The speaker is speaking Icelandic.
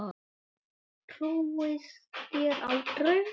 Trúið þér á drauga?